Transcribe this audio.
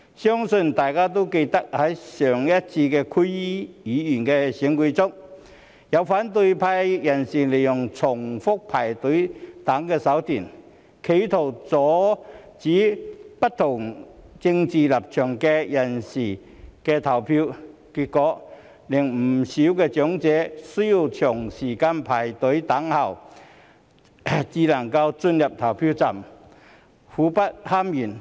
相信大家也記得，在上一次區議會選舉中，有反對派人士利用重複排隊等手段，企圖阻止不同政治立場的人士投票，結果令不少長者需要長時間排隊等候才能進入投票站，苦不堪言。